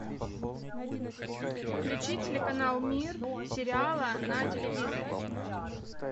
включи телеканал мир сериала на телевизоре